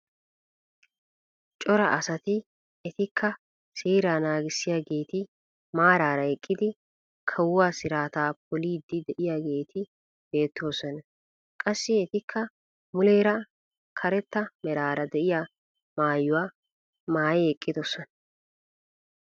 Cora asati etikka seeraa nagissiyaageeti maarara eqqidi kawuwaa siraataa poliidi de'iyaageeti beettoosona. Qassi etikka muleera karetta meraara de'iyaa maayuwaa maayi eqqidosona.